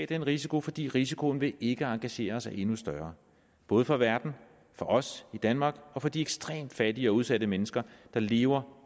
den risiko fordi risikoen ved ikke at engagere os er endnu større både for verden for os i danmark og for de ekstremt fattige og udsatte mennesker der lever